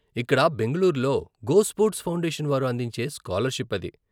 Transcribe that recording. ఇక్కడ బెంగళూరులో GoSports Foundation వారు అందించే స్కాలర్షిప్ అది.